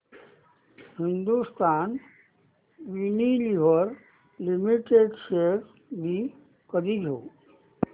Hindustan Unilever limited shares मी कधी घेऊ